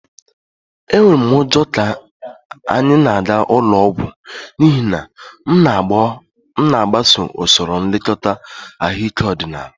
Enwere m ụjọ ka anyị na-aga ụlọ ọgwụ n'ihi na m na-agbaso usoro nlekọta ahụike ọdịnaala